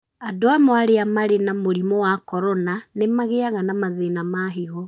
Andũ amwe arĩa marĩ na mũrimũ wa corona nĩ magĩaga na mathĩna ma higo.